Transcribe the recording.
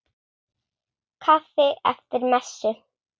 Kaffi eftir messu.